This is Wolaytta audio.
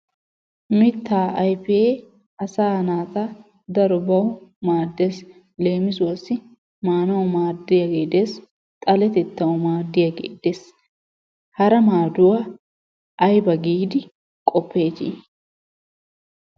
Mittaa ayfee asaa naata darobbawu maaddees. Leemissuwaassi maanawu maadiyagee de'ees xalettettwu maadiyagee de'ees, hara maaduwa ayba giidi qoppeetti?